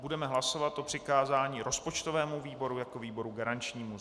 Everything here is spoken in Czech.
Budeme hlasovat o přikázání rozpočtovému výboru jako výboru garančnímu.